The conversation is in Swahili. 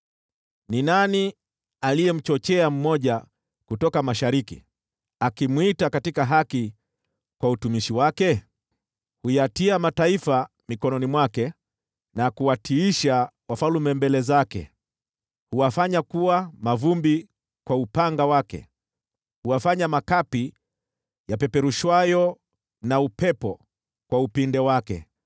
“Ni nani aliyemchochea mmoja kutoka mashariki, akimwita katika haki kwa utumishi wake? Huyatia mataifa mikononi mwake, na kuwatiisha wafalme mbele zake. Huwafanya kuwa mavumbi kwa upanga wake, huwafanya makapi yapeperushwayo na upepo kwa upinde wake.